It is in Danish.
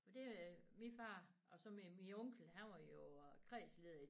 Det er min far og så min min onkel han var jo kredsleder i